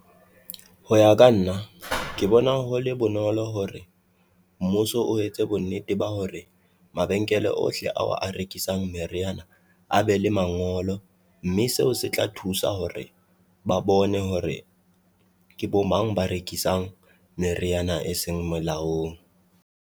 Ho ya ka nna ke bona ho le bonolo hore mmuso o etse bonnete ba hore mabenkele ohle ao a rekisang meriana a be le mangolo, mme seo se tla thusa hore ba bone hore ke bo mang ba rekisang meriana e seng molaong.